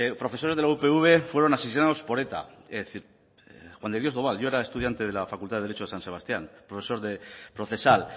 profesores de la upv fueron asesinados por eta es decir juan de dios doval yo era estudiante de la facultad de derecho de san sebastián profesor de procesal